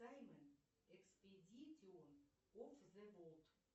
экспедитион оф зе ворлд